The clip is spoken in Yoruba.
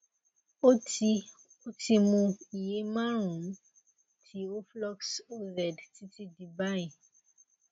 ó ti ó ti mu iye márùnún ti oflox oz títí di báyìí